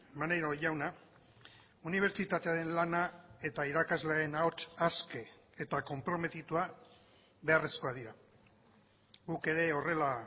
maneiro jauna unibertsitatearen lana eta irakasleen ahots aske eta konprometitua beharrezkoak dira guk ere horrela